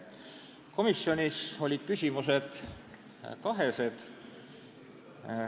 Komisjonis olid küsimused kaht laadi.